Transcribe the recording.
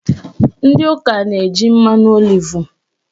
Ndị ụka na-eji mmanụ olivu